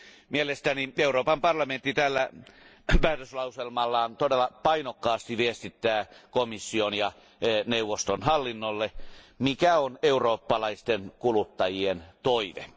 Mielestäni Euroopan parlamentti tällä päätöslauselmallaan todella painokkaasti viestittää komission ja neuvoston hallinnolle, mikä on eurooppalaisten kuluttajien toive.